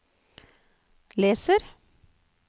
leser